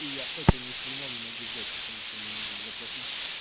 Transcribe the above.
и я это ни хрена не могу взять потому что мне нужно заплатить